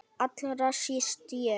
Allra síst ég!